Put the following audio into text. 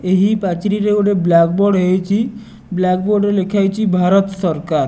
ଏହି ପାଚିରିରେ ଗୋଟେ ବ୍ଲାକ ବୋର୍ଡ଼ ହେଇଚି ବ୍ଲାକ ବୋର୍ଡ଼ ରେ ଲେଖା ହେଇଚି ଭାରତ ସରକାର।